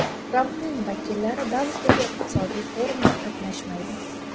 Trampning vakillari Davosdagi iqtisodiy forumda qatnashmaydi.